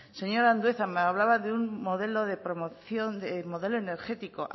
señor andueza me hablaba de un modelo de promoción de modelo energético